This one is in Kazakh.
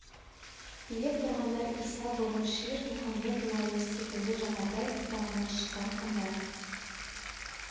билеп тұрғандар иса бұғы шир мұхамед уаис секілді жағатай ұрпағынан шыққан хандар